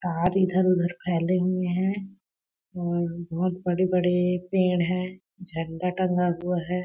तार इधर-उधर फैले हुए है। और बहुत बड़े-बड़े पेड़ है। झंडा टंगा हुआ है ।